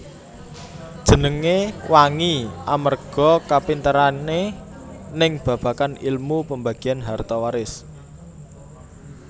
Jenenge wangi amerga kapinterane ning babagan ilmu pambagian harta waris